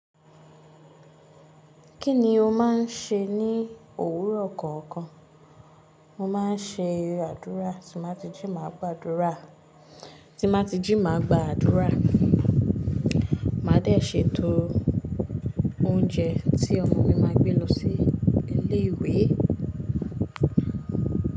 Kí ni o máa ń ṣe ní òwúrọ̀ kọ̀ọ̀kan? Mo máa ń ṣe adúrà, tí mà ti jí máa gba àdúrà, tí mà ti jí máa gba àdúrà, màá dẹ̀ ṣètò oúnjẹ tí ọmọ mi máa gbé lọ sí ilé ìwé.